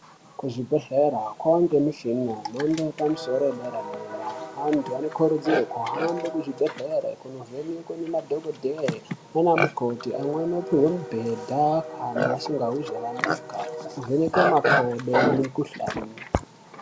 Ku zvibhedhlera kwange mushina ye mhando yepa musoro ye dera dera antu ano kurudzirwe ku hambe ku zvibhedhlere kuno vhenekwe ne madhokodheya nana mukoti amweni opuhwe mi bhedha kana asikahwi zvakanaka ovhenekwe makodo ne mikuhlani.